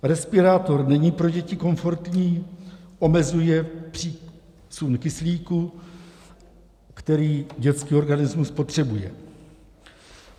Respirátor není pro děti komfortní, omezuje přísun kyslíku, který dětský organismus potřebuje.